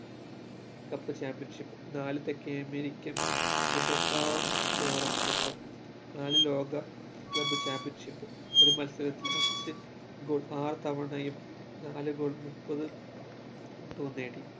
cup championship നാല് തെക്കേഅമേരിക്കൻ Libertadores cup നാല് ലോക club championship ഒരു മത്സരത്തിൽ അഞ്ച് goal ആറ് തവണയും നാല് goal മുപ്പത് വട്ടവും നേടി